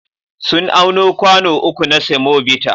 Sun auno kwano uku na semobita.